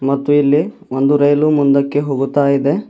ಮತ್ತು ಇಲ್ಲಿ ಒಂದು ರೈಲು ಮುಂದಕ್ಕೆ ಹೋಗುತ್ತಾ ಇದೆ.